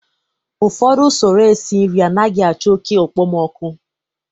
ụfọdụ usoro esi nri anaghị achọ oke okpomọkụ